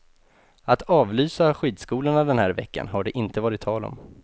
Att avlysa skidskolorna den här veckan har det inte varit tal om.